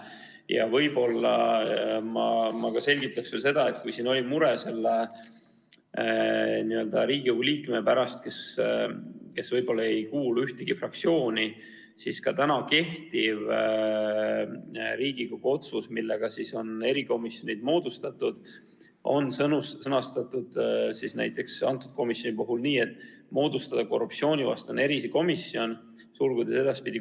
Ja võib-olla ma selgitan veel seda, et kui siin oli mure Riigikogu liikmete pärast, kes ei kuulu ühtegi fraktsiooni, siis ka praegu kehtivas Riigikogu otsuses, millega on erikomisjonid moodustatud, on kirjas, et komisjoni kuulub igast fraktsioonist üks liige.